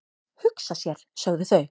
"""Hugsa sér, sögðu þau."""